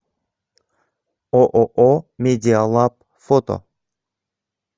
ооо медиалаб фото